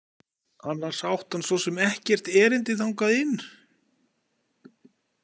Annars átti hann svo sem ekkert erindi þangað inn.